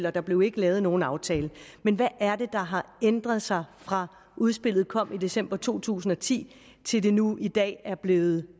og der blev ikke lavet nogen aftale men hvad er det der har ændret sig fra udspillet kom i december to tusind og ti til det nu i dag er blevet